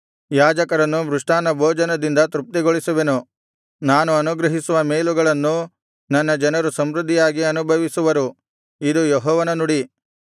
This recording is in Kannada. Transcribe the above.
ಯಾಜಕರನ್ನು ಮೃಷ್ಟಾನ್ನಭೋಜನದಿಂದ ತೃಪ್ತಿಗೊಳಿಸುವೆನು ನಾನು ಅನುಗ್ರಹಿಸುವ ಮೇಲುಗಳನ್ನು ನನ್ನ ಜನರು ಸಮೃದ್ಧಿಯಾಗಿ ಅನುಭವಿಸುವರು ಇದು ಯೆಹೋವನ ನುಡಿ